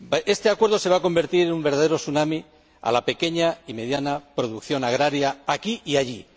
Este acuerdo se va a convertir en un verdadero tsunami para la pequeña y mediana producción agraria, aquí y allí.